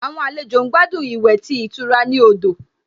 Àwọn àlejò ń gbádùn ìwẹ̀ tí ìtura ní odò